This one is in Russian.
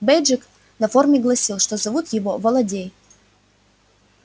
бейджик на форме гласил что зовут его володей